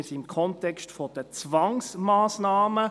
Wir sind im Kontext von Zwangsmassnahmen.